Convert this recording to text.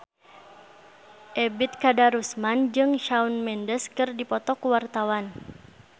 Ebet Kadarusman jeung Shawn Mendes keur dipoto ku wartawan